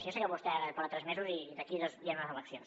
jo sé que vostè ara porta tres mesos i d’aquí dos hi han unes eleccions